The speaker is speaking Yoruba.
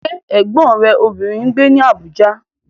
Ṣé Ẹ̀gbọ́n rẹ obìnrin ń gbé ní Abuja?